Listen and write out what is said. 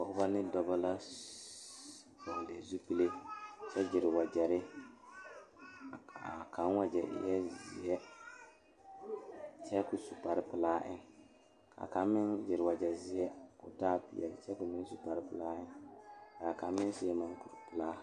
Noba la a kyɛne bamine de la wiɛ a yeere yeere baagre kaŋa soba meŋ e la gbɛre a zeŋ gbɛre saakere poɔ kyɛ kaa kaŋa soba paŋ daare o ,o meŋ yeere la baagi o puori.